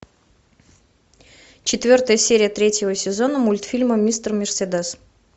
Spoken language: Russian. четвертая серия третьего сезона мультфильма мистер мерседес